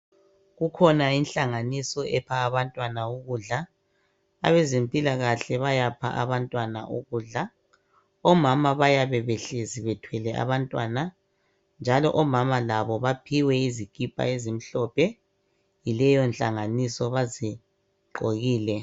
kukhona inhlanganiso epha abantwana ukudla abezempilakahle bayapha abantwana ukudla omama bayabe behlezi bethwele abantwana njalo omama labo baphiwa izikipa ezimhlophe yileyo nhlanganiso bazi gqokile